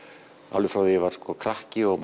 alveg frá því ég var krakki og